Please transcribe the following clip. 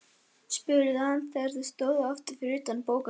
spurði hann þegar þau stóðu aftur fyrir utan bókasafnið.